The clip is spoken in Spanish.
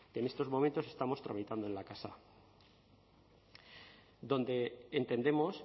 que en estos momentos estamos tramitando en la casa donde entendemos